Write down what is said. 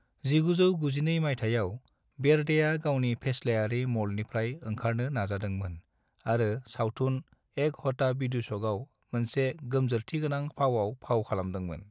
1992 मायथायाव, बेर्डेआ गावनि फेस्लायारि मल्डनिफ्राय ओंखारनो नाजादोंमोन आरो सावथुन एक होता विदुषकआव मोनसे गोमजोरथिगोनां फावाव फाव खालामदोंमोन।